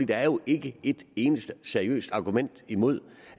der er jo ikke et eneste seriøst argument imod